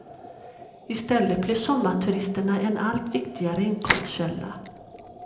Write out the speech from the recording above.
I stället blev sommarturisterna en allt viktigare inkomstkälla.